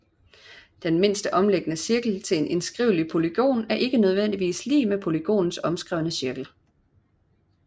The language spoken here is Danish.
Den mindste omliggende cirkel til en indskrivelig polygon er ikke nødvendigvis lig med polygonens omskrevne cirkel